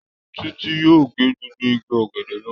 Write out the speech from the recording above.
Títí yóò ge gbogbo igi ọ̀gẹ̀dẹ̀ náà.